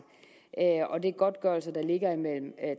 og det er godtgørelser der ligger imellem